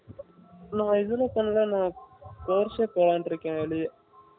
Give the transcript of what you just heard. நான் இதுல பண்ணல outside போலாம்ன்னு இருக்கன் வெளி